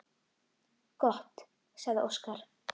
Gott, sagði Óskar.